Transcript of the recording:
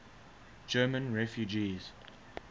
german refugees